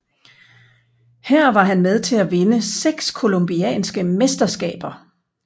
Her var han med til at vinde seks colombianske mesterskaber